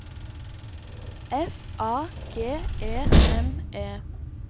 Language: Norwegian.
F A G E N E